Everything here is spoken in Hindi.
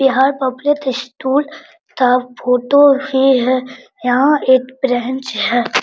बिहार पब्लिक इसतूल तथा फोटो भी है यहां पर एक ब्रेंच है।